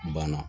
Banna